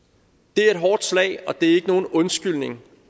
det er et hårdt slag og det er ikke nogen undskyldning